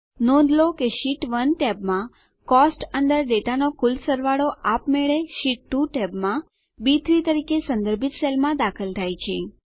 નોંધ લો કે શીટ 1 ટેબમાં કોસ્ટ્સ અંદર ડેટાનો કુલ સરવાળો આપ મેળે શીટ 2 ટેબમાં બી3 તરીકે સંદર્ભિત સેલમાં દાખલ થાય છે